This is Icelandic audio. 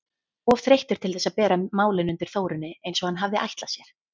Of þreyttur til þess að bera málin undir Þórunni eins og hann hafði ætlað sér.